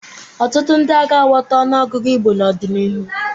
Ọtụtụ ndị agaghị aghọta ọnụọgụgụ Igbo n'ọdịnihu.